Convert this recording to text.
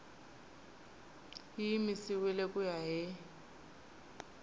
yi yimisiwile ku ya hi